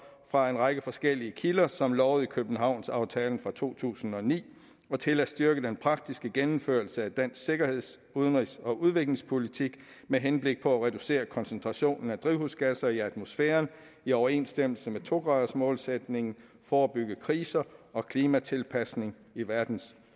fra en række forskellige kilder som lovet i københavnsaftalen fra to tusind og ni og til at styrke den praktiske gennemførelse af dansk sikkerheds udenrigs og udviklingspolitik med henblik på at reducere koncentrationen af drivhusgasser i atmosfæren i overensstemmelse med to gradersmålsætningen forebygge kriser og klimatilpasning i verdens